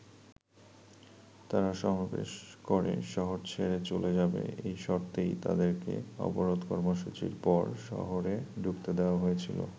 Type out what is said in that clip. তারা সমাবেশ করে শহর ছেড়ে চলে যাবে এই শর্তেই তাদেরকে অবরোধ কর্মসুচির পর শহরে ঢুকতে দেয়া হয়েছিল।